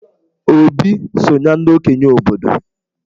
Obi so na ndị okenye obodo.